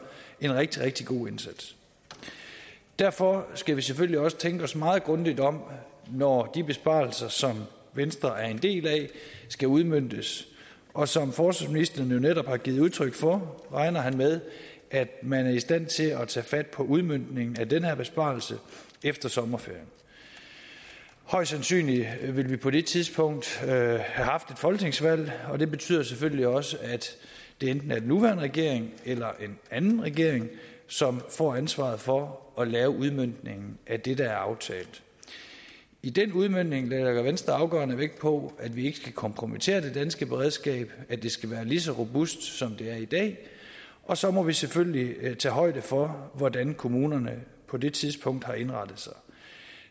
en rigtig rigtig god indsats derfor skal vi selvfølgelig også tænke os meget grundigt om når de besparelser som venstre er en del af skal udmøntes og som forsvarsministeren netop har givet udtryk for regner han med at man er i stand til at tage fat på udmøntningen af den her besparelse efter sommerferien højst sandsynligt vil vi på det tidspunkt have haft et folketingsvalg og det betyder selvfølgelig også at det enten er den nuværende regering eller en anden regering som får ansvaret for at lave udmøntningen af det der er aftalt i den udmøntning lægger venstre afgørende vægt på at vi ikke skal kompromittere det danske beredskab at det skal være lige så robust som det er i dag og så må vi selvfølgelig tage højde for hvordan kommunerne på det tidspunkt har indrettet sig